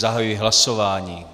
Zahajuji hlasování.